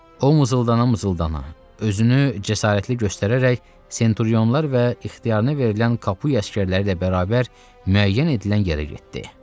O mızıldana-mızıldana özünü cəsarətli göstərərək senturionlar və ixtiyarına verilən kapuya əsgərləri ilə bərabər müəyyən edilən yerə getdi.